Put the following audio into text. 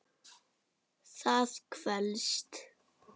Það kvelst.